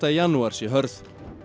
sé hörð